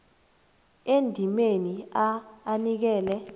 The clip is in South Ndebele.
endimeni a anikele